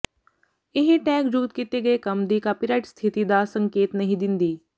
ਇਹ ਟੈਗ ਜੁਗਤ ਕੀਤੇ ਗਏ ਕੰਮ ਦੀ ਕਾਪੀਰਾਈਟ ਸਥਿਤੀ ਦਾ ਸੰਕੇਤ ਨਹੀਂ ਦਿੰਦੀ